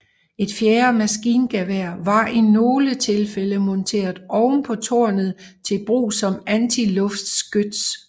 Et fjerde maskingevær var i nogle tilfælde monteret oven på tårnet til brug som antiluftskyts